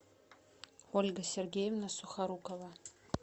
ольга сергеевна сухорукова